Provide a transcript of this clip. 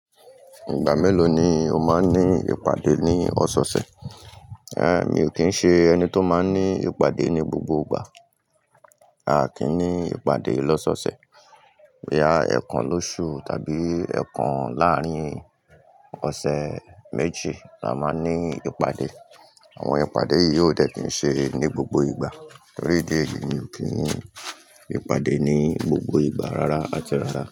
Ìgbà mélòó ni o máa ń ní ìpàdé ní ọ̀sẹ̀ ọ̀sẹ̀? É mi ò kí ń ṣe ẹni tó máa ń ní ìpàdé ní gbogbo ìgbà. A kì í ní ìpàdé lọ́sọ̀ọ̀sẹ̀. Rárá ẹ̀ẹ̀kan lóṣù tàbí ẹ̀ẹ̀kan láàrín ọ̀sẹ̀ méjì la máa ń ní ìpàdé. Àwọn ìpàdé yìí ò dẹ̀ kí ń ṣe ní gbogbo ìgbà torí idí ẹ̀yi mi ò kí ń ní ìpàdé ní gbogbo ìgbà rárá àti rárá.